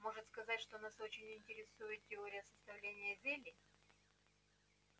можно сказать что нас очень интересует теория составления зелий